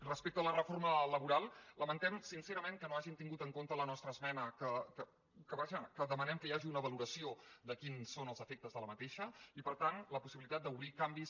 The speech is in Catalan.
respecte a la reforma laboral lamentem sincerament que no hagin tingut en compte la nostra esmena en què demanem que hi hagi una valoració de quins són els efectes d’aquesta reforma i per tant la possibilitat d’obrir hi canvis